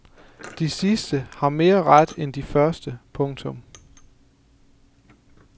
De sidste har mere ret end de første. punktum